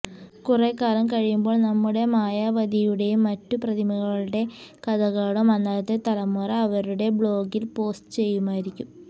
കുറെ കാലം കഴിയുമ്പോൾ നമ്മുടെ മായാവതിയുടെയും മറ്റും പ്രതിമകളുടേ കഥകളും അന്നത്തെ തലമുറ അവരുടേ ബ്ലോഗിൽ പോസ്റ്റ് ചെയ്യുമായിരിക്കും